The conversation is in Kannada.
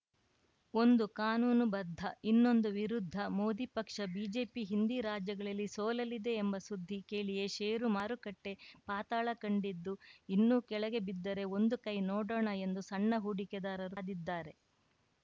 ಒಂದು ಕಾನೂನು ಬದ್ಧ ಇನ್ನೊಂದು ವಿರುದ್ಧ ಮೋದಿ ಪಕ್ಷ ಬಿಜೆಪಿ ಹಿಂದಿ ರಾಜ್ಯಗಳಲ್ಲಿ ಸೋಲಲಿದೆ ಎಂಬ ಸುದ್ದಿ ಕೇಳಿಯೇ ಷೇರು ಮಾರುಕಟ್ಟೆಪಾತಾಳ ಕಂಡಿದ್ದು ಇನ್ನೂ ಕೆಳಗೆ ಬಿದ್ದರೆ ಒಂದು ಕೈ ನೋಡೋಣ ಎಂದು ಸಣ್ಣ ಹೂಡಿಕೆದಾರರು ಕಾದಿದ್ದಾರೆ